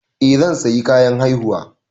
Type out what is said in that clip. Eh zan sayi kayan haihuwa.